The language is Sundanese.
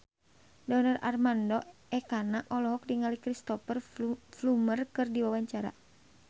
Donar Armando Ekana olohok ningali Cristhoper Plumer keur diwawancara